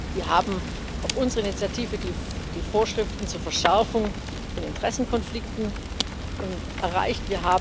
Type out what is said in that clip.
Wir haben auf unsere Initiative die Vorschriften zur Verschärfung von Interessenkonflikten erreicht.